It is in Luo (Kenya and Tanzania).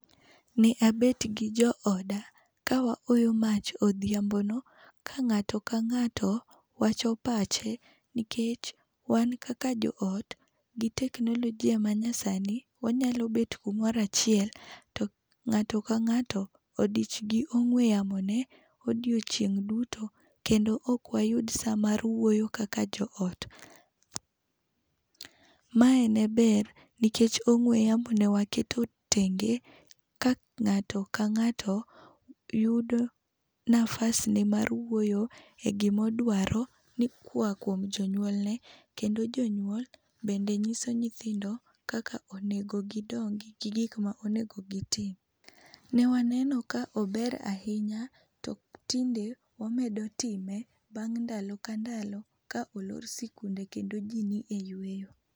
Ne abet gi jooda kawaoyo mach odhiambono ka ng'ato kang'ato wacho pache nikech wan kaka joot, gi teknolojia manyasani, wanyalo bet kamoro achiel, to ng'ato kang'ato odich gi ong'we yamo ne odiechieng' xduto kendo ok wayud saa mar wuoyo kaka joot. Mae ne ber nikech ong'we yamo ne waketo tenge, ka ng'ato kang'ato yudo nafas ne mar wuoyo e gima odwaro ni koa kuom jonyuone. Kendo jonyuol bende nyiso nyithindo kaka onego gidongi gi gik ma onego gitim.. Ne waneno ka ober ahinya to tinde wamedo time bang' ndalo ka ndalo ka olor sikunde kendo ji ni eyueyo.